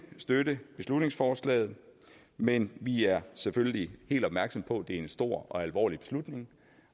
støtte beslutningsforslaget men vi er selvfølgelig helt opmærksomme på at det er en stor og alvorlig beslutning